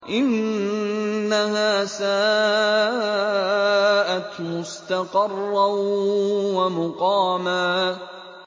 إِنَّهَا سَاءَتْ مُسْتَقَرًّا وَمُقَامًا